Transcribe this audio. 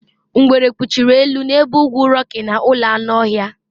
Ngwere kpuchiri elu n'ebe ugwu Rocky na ụlọ anụ ọhịa